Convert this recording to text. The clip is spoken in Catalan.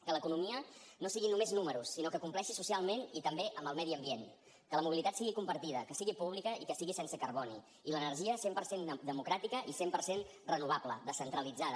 que l’economia no siguin només números sinó que compleixi socialment i també amb el medi ambient que la mobilitat sigui compartida que sigui pública i que sigui sense carboni i l’energia cent per cent democràtica i cent per cent renovable descentralitzada